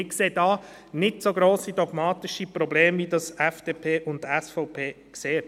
Wir sehen hier nicht so grosse dogmatische Probleme, wie dies FDP und SVP tun.